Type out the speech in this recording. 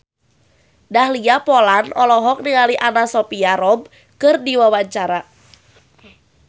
Dahlia Poland olohok ningali Anna Sophia Robb keur diwawancara